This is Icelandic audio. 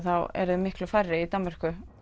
eru þeir miklu færri í Danmörku